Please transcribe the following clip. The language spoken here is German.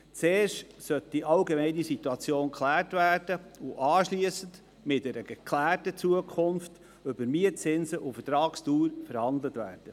Zuerst sollte die allgemeine Situation geklärt und anschliessend mit einer geklärten Zukunft über Mietzinse und Vertragsdauer verhandelt werden.